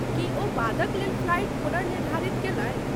की ओ बादक लेल फ्लाइट पुनर्निर्धारित कयलनि?